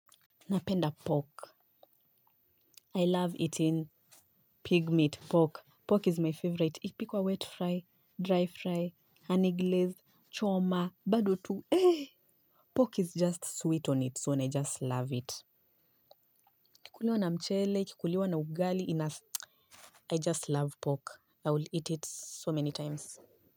Napenda pork I love eating pig meat pork. Pork is my favorite. Ikipikwa wet fry, dry fry, honey glazed, choma, bado tu, eh! Pork is just sweet own it so I just love it. Ikikuliwa na mchele, ikikuliwa na ugali ina I just love pork. I will eat it so many times.